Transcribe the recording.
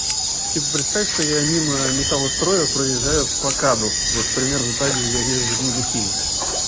типа представь что я мимо металлостроя проезжаю по мкаду вот примерно так же я езжу мимо химок